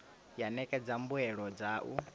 ya ṋekedza mbuelo dza u